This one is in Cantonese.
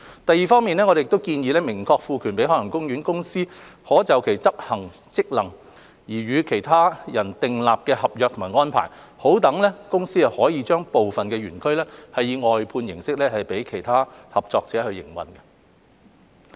第二，我們建議明確賦權海洋公園公司可就執行其職能而與任何其他人訂立合約或安排，讓公司可以將部分園區以外判形式交予其他合作者營運。